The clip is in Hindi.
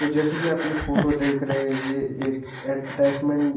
तो जैसे कि आप ये फोटो देख रहे ये एक ऐडवटाइसमेन् --